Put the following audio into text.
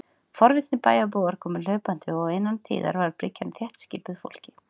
Forvitnir bæjarbúar komu hlaupandi, og innan tíðar var bryggjan þéttskipuð fólki.